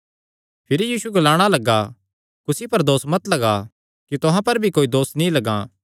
भिरी यीशु ग्लाणा लग्गा कुसी पर दोस मत लग्गा कि तुहां पर भी दोस नीं लग्गैं